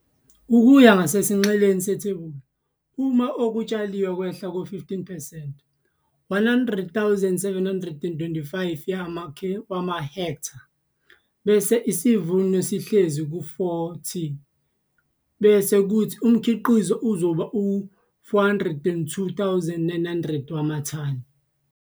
Ukuya ngasesinxeleni sethebula, uma okutshaliwe kwehle ngo-15 percent, 100 725 wamahektha, bese isivuno sihlezi ku-4t bese kuthi umkhiqizo uzoba u-402 900 wamathani.